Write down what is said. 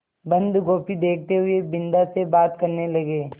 बन्दगोभी देखते हुए बिन्दा से बात करने लगे